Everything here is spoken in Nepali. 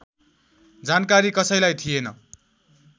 जानकारी कसैलाई थिएन